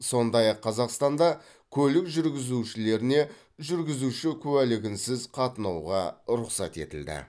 сондай ақ қазақстанда көлік жүргізушілеріне жүргізуші куәлігінсіз қатынауға рұқсат етілді